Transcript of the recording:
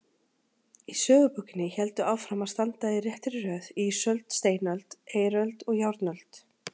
Í sögubókinni héldu áfram að standa í réttri röð ísöld, steinöld, eiröld og járnöld.